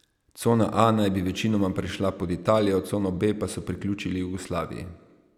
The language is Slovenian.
Cona A naj bi večinoma prešla pod Italijo, cono B pa so priključili Jugoslaviji.